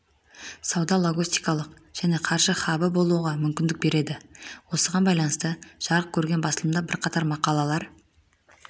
сауда логистикалық және қаржы хабы болуға мүмкіндік береді осыған байланысты жарық көрген басылымда бірқатар мақалалар